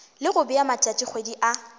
le go bea matšatšikgwedi a